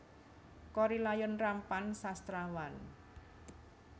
Korrie Layun Rampan Sastrawan